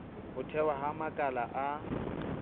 ho thehwa ha makala a